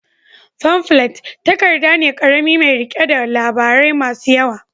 Famflet takarda ne ƙarami mai riƙe da labarai masu yawa.